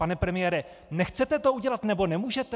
Pane premiére, nechcete to udělat, nebo nemůžete?!